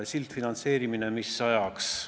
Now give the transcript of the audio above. Sildfinantseerimine, mis ajaks?